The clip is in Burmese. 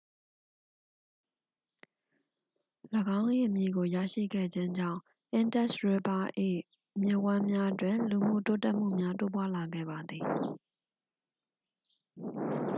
၎င်း၏အမည်ကိုရရှိခဲ့ခြင်းကြောင့် indus river ၏ မြစ်ဝှမ်းများတွင် လူမှုတိုးတက်မှုများ တိုးပွားလာခဲ့ပါသည်